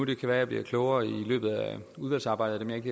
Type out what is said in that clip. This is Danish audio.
det kan være jeg bliver klogere i løbet af udvalgsarbejdet